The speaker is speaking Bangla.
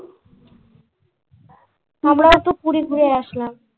আমরাও তো পুরী ঘুরে আসলাম।